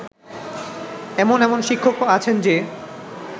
এমন এমন শিক্ষকও আছেন যে